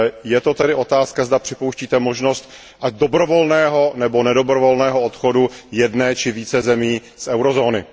Je to tedy otázka, zda připouštíte možnost ať dobrovolného, nebo nedobrovolného odchodu jedné či více zemí z eurozóny.